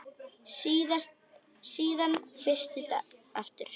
Síðan frysti aftur.